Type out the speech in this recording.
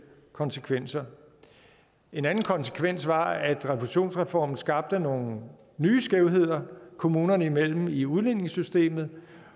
konsekvenser en anden konsekvens var at refusionsreformen skabte nogle nye skævheder kommunerne imellem i udligningssystemet